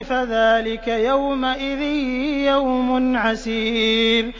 فَذَٰلِكَ يَوْمَئِذٍ يَوْمٌ عَسِيرٌ